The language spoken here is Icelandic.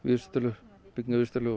á byggingavísitölu